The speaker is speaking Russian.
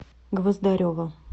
гвоздарева